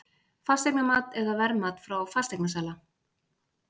Fasteignamat eða verðmat frá fasteignasala?